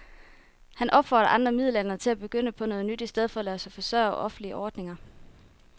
Han opfordrer andre midaldrende til at begynde på noget nyt i stedet for at lade sig forsørge af offentlige ordninger.